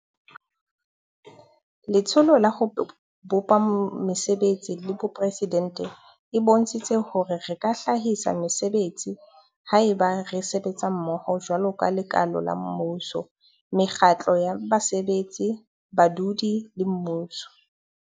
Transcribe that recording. Letsholo la ho bopa Mese betsi la Boporesidente e bontshitse hore re ka hlahisa mesebetsi haeba re sebetsa mmoho jwaloka lekala la mmuso, mekgatlo ya basebetsi, badudi le mmuso.